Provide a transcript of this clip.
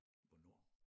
Hvornår?